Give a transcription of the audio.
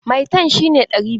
Maitan shi ne ɗari biyu.